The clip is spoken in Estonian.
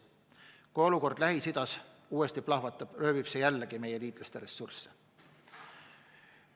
Kui olukord Lähis-Idas uuesti plahvatab, röövib see jälle meie liitlaste ressursse.